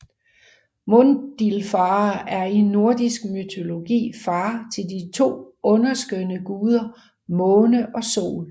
Mundilfare er i nordisk mytologi far til de to underskønne guder Måne og Sol